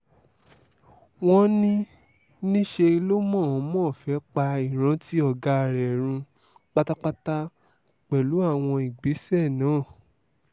wọ́n ní níṣẹ́ lọ mọ̀-ọ́n-mọ́ fẹ́ẹ́ pa ìrántí ọ̀gá rẹ̀ run pátápátá pẹ̀lú àwọn ìgbésẹ̀ náà